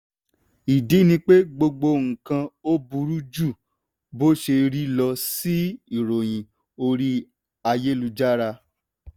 ìdí ni pé gbogbo nǹkan ò burú ju bó ṣe rí lọ ṣí i ìròyìn orí ayélujára.